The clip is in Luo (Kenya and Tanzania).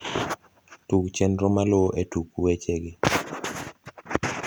tug chenro maluo e tuku weche gi